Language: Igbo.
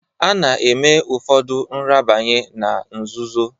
Ana-eme ufodu nrabanye na nzụzoọ.